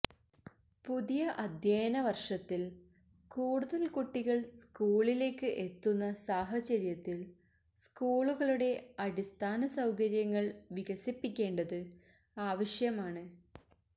പുതിയ അധ്യയന വര്ഷത്തില് കൂടുതല് കുട്ടികള് സ്കൂളിലേക്ക് എത്തുന്ന സാഹചര്യത്തില് സ്കൂളുകളുടെ അടിസ്ഥാന സൌകര്യങ്ങള് വികസിപ്പിക്കേണ്ടത് ആവശ്യമാണ്